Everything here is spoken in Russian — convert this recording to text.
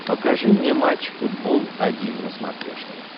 покажи мне матч футбол один на смотрешке